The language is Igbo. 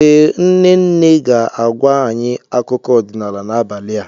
Ee, nne nne ga-agwa anyị akụkọ ọdịnala n'abalị a.